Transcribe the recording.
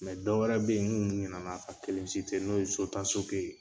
Mɛ dɔw wɛrɛ bɛ yen nkun ɲinɛna ka kelen n'o ye sotasoke ye.